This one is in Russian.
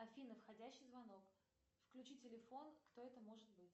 афина входящий звонок включи телефон кто это может быть